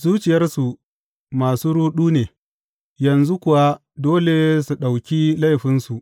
Zuciyarsu masu ruɗu ne, yanzu kuwa dole su ɗauki laifinsu.